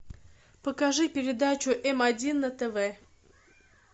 покажи передачу м один на тв